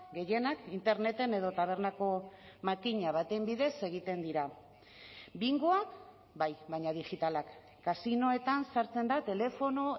gehienak interneten edo tabernako makina baten bidez egiten dira bingoak bai baina digitalak kasinoetan sartzen da telefono